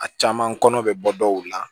A caman kɔnɔ bɛ bɔ dɔw la